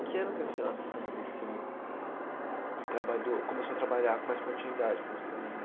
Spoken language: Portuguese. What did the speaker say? Em que ano que a senhora se estabeleceu e trabalhou começou a trabalhar com mais continuidade com os Tremembé?